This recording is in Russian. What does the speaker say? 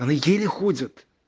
она еле ходит